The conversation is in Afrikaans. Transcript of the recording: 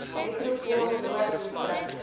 metropool noord distrik